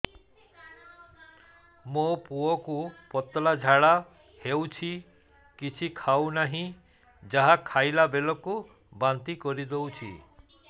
ମୋ ପୁଅ କୁ ପତଳା ଝାଡ଼ା ହେଉଛି କିଛି ଖାଉ ନାହିଁ ଯାହା ଖାଇଲାବେଳକୁ ବାନ୍ତି କରି ଦେଉଛି